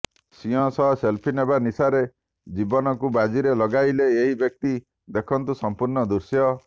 ସିଂହ ସହ ସେଲ୍ଫି ନେବା ନିଶାରେ ଜୀବନକୁ ବାଜିରେ ଲଗାଇଲେ ଏହି ବ୍ୟକ୍ତି ଦେଖନ୍ତୁ ସମ୍ପୂର୍ଣ୍ଣ ଦୃଶ୍ୟ